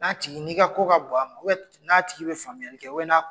N'a tigi n'i ka ko ka bon a ma u bɛ n'a tigi be faamuyali kɛ na